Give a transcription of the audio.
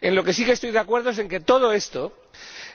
En lo que sí estoy de acuerdo es en que todo esto